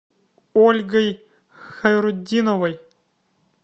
ольгой хайрутдиновой